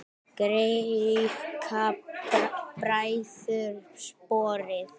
Greikka bræður sporið.